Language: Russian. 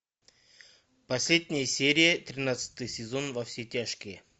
последняя серия тринадцатый сезон во все тяжкие